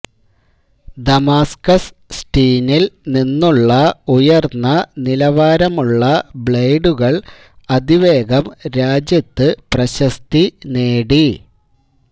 Damascus സ്റ്റീനിൽ നിന്നുള്ള ഉയർന്ന നിലവാരമുള്ള ബ്ലേഡുകൾ അതിവേഗം രാജ്യത്ത് പ്രശസ്തി നേടി